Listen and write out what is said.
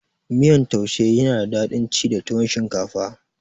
Miyan taushi yana da dadin ci da tuwon shinkafa